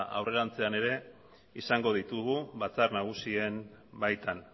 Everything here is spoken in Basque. aurrerantzean ere izango ditugu batzar nagusien baitan